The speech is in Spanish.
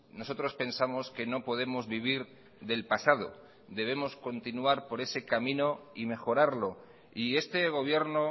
nosotros pensamos que no podemos vivir del pasado debemos continuar por ese camino y mejorarlo y este gobierno